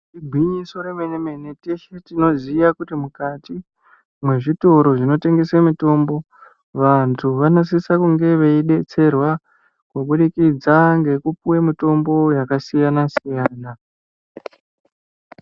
Igwinyiso remene mene teshe tinoziva kuti mukati mwezvitoro zvinotengese mutombo vandu vanosisa kunge veyibetserwa kubudikidza ngekupiwe mitombo yakasiyana siyana.